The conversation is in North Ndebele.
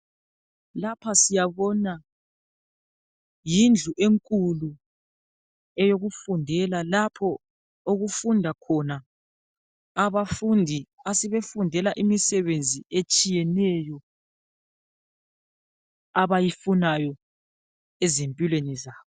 Lapha siyabona ,yindlu enkulu eyokufundela lapho okufunda khona abafundi asebefundela imisebenzi etshiyeneyo abayifunayo ezimpilweni zabo.